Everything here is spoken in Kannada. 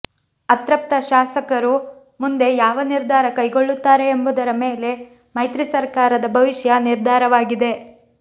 ಅತೃಪ್ತ ಶಾಸಕರು ಮುಂದೆ ಯಾವ ನಿರ್ಧಾರ ಕೈಗೊಳ್ಳುತ್ತಾರೆ ಎಂಬುದರ ಮೇಲೆ ಮೈತ್ರಿ ಸರಕಾರದ ಭವಿಷ್ಯ ನಿರ್ಧಾರವಾಗಿದೆ